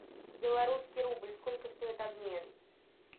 белорусский рубль сколько стоит обмен